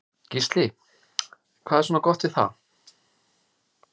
Gísli: Hvað er svona gott við það?